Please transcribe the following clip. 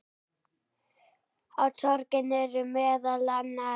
Á torginu eru meðal annars